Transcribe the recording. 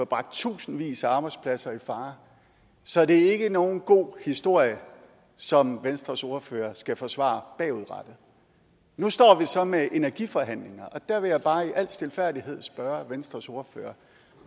bragt tusindvis af arbejdspladser i fare så det er ikke nogen god historie som venstres ordfører skal forsvare bagudrettet nu står vi så med energiforhandlinger og der vil jeg bare i al stilfærdighed spørge venstres ordfører